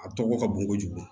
A tɔgɔ ka bon kojugu